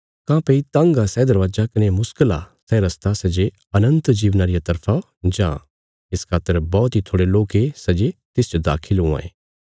काँह्भई तंग आ सै दरवाजा कने मुश्कल आ सै रस्ता सै जे अनन्त जीवना रिया तरफा जां इस खातर बौहत इ थोड़े लोक ये सै जे तिसच दाखल हुआं ये